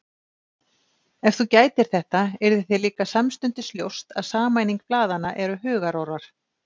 Ef þú gætir þetta, yrði þér líka samstundis ljóst að sameining blaðanna eru hugarórar.